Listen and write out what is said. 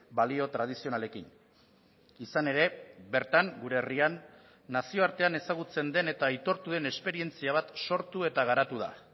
balio tradizionalekin izan ere bertan gure herrian nazioartean ezagutzen den eta aitortu den esperientzia bat sortu eta garatu da